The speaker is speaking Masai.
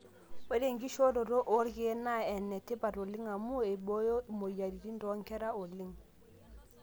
ore enkishooroto oorkeek naa enetipat oleng amu eibooyo imweyiaritin toonkera oleng.